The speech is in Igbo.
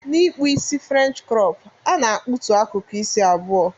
Na ikpụ isi french crop ana akpụtụ akụkụ isi abụọ.